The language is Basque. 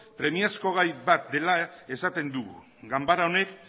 premiazko gai bat dela esaten dugu ganbara honek